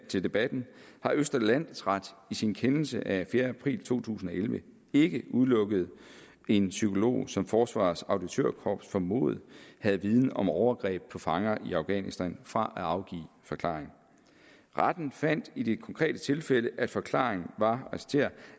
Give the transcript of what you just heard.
til debatten har østre landsret i sin kendelse af fjerde april to tusind og elleve ikke udelukket en psykolog som forsvarets auditørkorps formodede havde viden om overgreb på fanger i afghanistan fra at afgive forklaring retten fandt i det konkrete tilfælde at forklaringen var